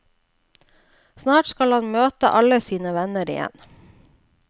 Snart skal han møte alle sine venner igjen.